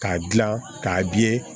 K'a dilan k'a